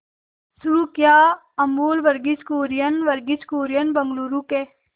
शुरू किया अमूल वर्गीज कुरियन वर्गीज कुरियन बंगलूरू के